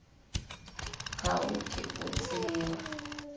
ga o ke o tseba